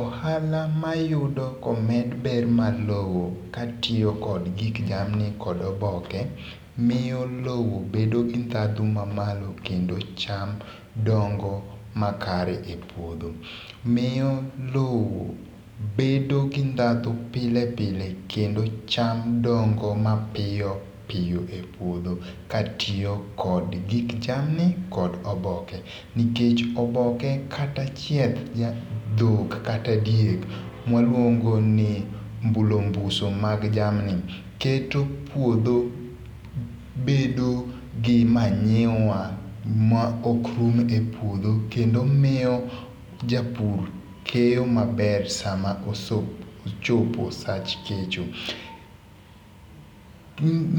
Ohala mayudo komed ber mar lowo ka tiyo kod gik jamni kod oboke miyo lowo bedo gi ndhadhu mamalo kendo cham dongo makare e puodho. Miyo lowo bedo gi ndhadhu pile pile kendo cham dongo mapiyopiyo e puodho katiyo kod gik chamgi kod oboke. Nikech oboke kata chieth dhiang' dhok kata diek ma waluongo ni mbulombuso mag jamni keto puodho bedo gi manyiwa ma ok rum e puodho kendo miyo japur keyo maber sama ochopo sach kecho.